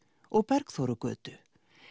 og Bergþórugötu